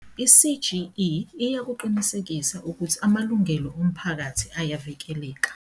I-CGE iyakuqinisekisa ukuthi amalungelo omphakathi ayavikeleka.